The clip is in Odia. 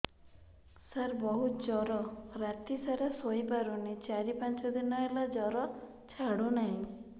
ସାର ବହୁତ ଜର ରାତି ସାରା ଶୋଇପାରୁନି ଚାରି ପାଞ୍ଚ ଦିନ ହେଲା ଜର ଛାଡ଼ୁ ନାହିଁ